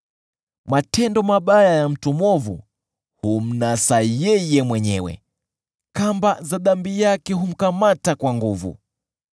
Matendo mabaya ya mtu mwovu humnasa yeye mwenyewe; kamba za dhambi yake humkamata kwa nguvu.